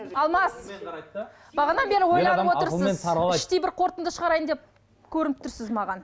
алмас бағанадан бері ойланып отырсыз іштей бір қорытынды шығарайын деп көрініп тұрсыз маған